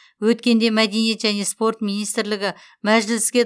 өткенде мәдениет және спорт министрлігі мәжіліске